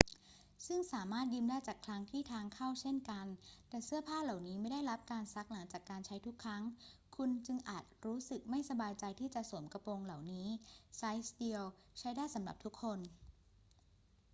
ซึ่งสามารถยืมได้จากคลังที่ทางเข้าเช่นกัน แต่เสื้อผ้าเหล่านี้ไม่ได้รับการซักหลังจากการใช้ทุกครั้ง คุณจึงอาจรู้สึกไม่สบายใจที่จะสวมกระโปรงเหล่านี้ ไซซ์เดียวใช้ได้สำหรับทุกคน